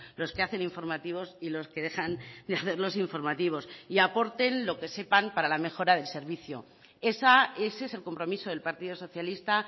los que hacen informativos y los que dejan de hacer los informativos y aporten lo que sepan para la mejora del servicio ese es el compromiso del partido socialista